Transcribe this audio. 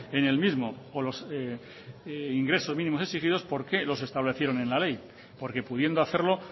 en el mismo por los ingresos mínimos exigidos por qué los establecieron en la ley por qué pudiendo hacerlo